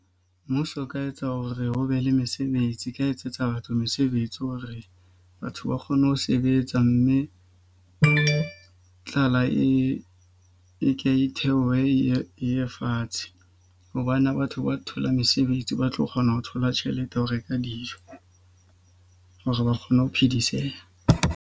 Mmuso o ka etsa hore ho be le mesebetsi ka etsetsa batho mesebetsi hore batho ba kgone ho sebetsa. Mme e tlala e e ke e theohe e ye fatshe. Hobane batho ba thola mesebetsi, ba tlo kgona ho thola tjhelete ya ho reka dijo hore ba kgone ho phediseha.